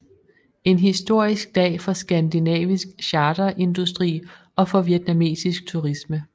En historisk dag for skandinavisk charterindustri og for vietnamesisk turisme